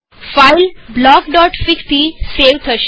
file બ્લોકફીગ થી save થશે